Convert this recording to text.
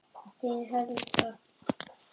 Þinn Helgi.